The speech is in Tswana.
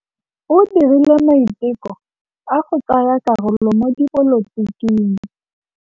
O dirile maitekô a go tsaya karolo mo dipolotiking.